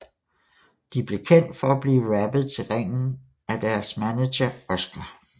De blev kendt for at blive rappet til ringen af deres manager Oscar